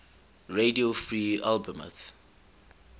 radio free albemuth